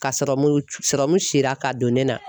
Ka sirɔmu sirɔmu sira ka don ne na.